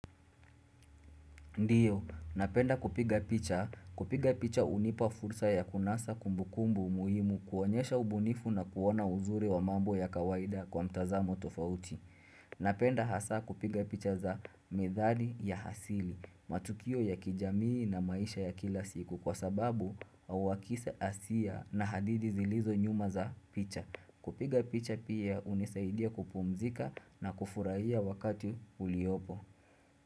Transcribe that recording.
Ndiyo, napenda kupiga picha. Kupiga picha unipa fursa ya kunasa kumbukumbu muhimu kuonyesha ubunifu na kuona uzuri wa mambo ya kawaida kwa mtazamo tofauti. Napenda hasa kupiga picha za midhali ya hasili, matukio ya kijamii na maisha ya kila siku kwa sababu awakisa asia na hadidi zilizo nyuma za picha. Kupiga picha pia hunisaidia kupumzika na kufurahia wakati uliopo.